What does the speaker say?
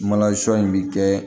in bi kɛ